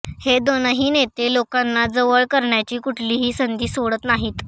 हे दोनही नेते लोकांना जवळ करण्याची कुठलीही संधी सोडत नाहीत